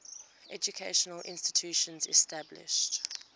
educational institutions established